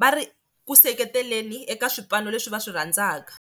va ri ku seketeleni eka swipano leswi va swi rhandzaka.